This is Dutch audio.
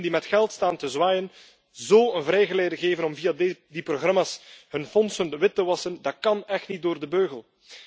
Criminelen die met geld staan te zwaaien zo een vrijgeleide geven om via die programma's hun fondsen wit te wassen, dat kan echt niet door de beugel.